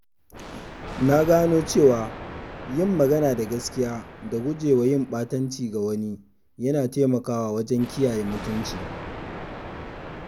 Na gano cewa yin magana da gaskiya da gujewa yin ɓatanci ga wani yana taimakawa wajen kiyaye mutunci.